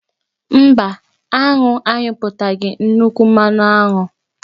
Mba, aṅụ anyụpụtaghị nnukwu mmanụ aṅụ.